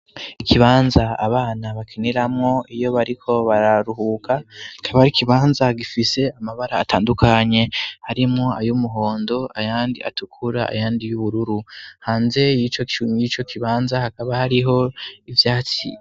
Ikibanza abana bakiniramwo iyo bariko bararuhuka. Kikaba ar'ikibanza gifise amabara atandukanye, harimo ay'umuhondo, ayandi atukura ,ayandi y'ubururu. Hanze y'ico kibanza hakaba hariho ivyatsi.